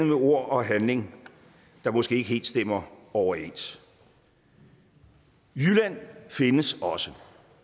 med ord og handling der måske ikke helt stemmer overens jylland findes også